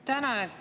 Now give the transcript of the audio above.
Tänan!